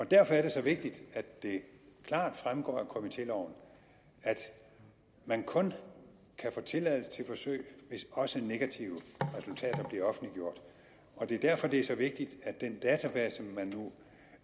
derfor er det så vigtigt at det klart fremgår af komitéloven at man kun kan få tilladelse til forsøg hvis også negative resultater bliver offentliggjort det er derfor at det er så vigtigt at den database man nu